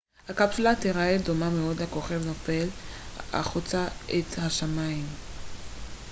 הקפסולה תיראה דומה מאוד לכוכב נופל החוצה את השמים